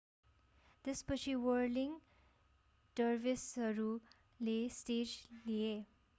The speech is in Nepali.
त्यसपछि व्हर्लिङ डर्भिसहरूले स्टेज लिए